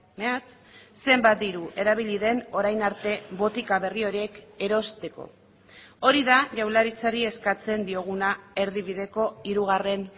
mehatz zenbat diru erabili den orain arte botika berri horiek erosteko hori da jaurlaritzari eskatzen dioguna erdibideko hirugarren